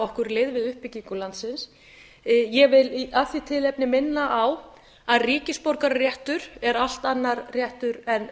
okkur lið við uppbyggingu landsins ég vil af því tilefni minna á að ríkisborgararéttur er allt annar réttur en